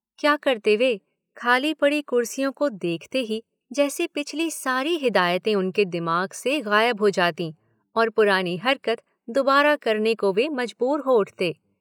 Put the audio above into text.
क्या करते वे, खाली पड़ी कुर्सियों को देखते ही जैसे पिछली सारी हिदायतें उनके दिमाग से गायब हो जातीं और पुरानी हरकत दुबारा करने को वे मजबूर हो उठते।